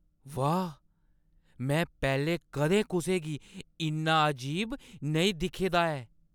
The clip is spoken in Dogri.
वाह् ! में पैह्‌लें कदें कुसै गी इन्ना अजीब नेईं दिक्खे दा ऐ!